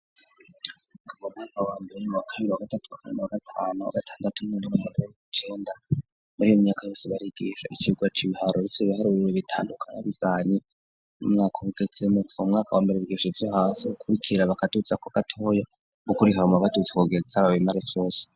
Ku mwaka wambere kabiri wa gatatu amene wa gatanu a gatandatu mwene wa murye icenda muri iyo myaka yose barigisha ikigwa c'ibiharoritse ibihare biro bitandukana bivanye n'umwaka bugetsemo gufa umwaka wambere byisha ivyo hasi gukurikira bakadutsa ko gatoyo gukurikibamo batutse kugeretsa babimare vyose